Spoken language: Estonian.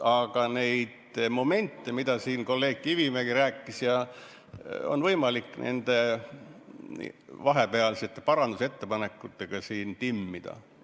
Aga neid momente, millest siin kolleeg Kivimägi rääkis, on võimalik vahepealsete parandusettepanekutega timmida.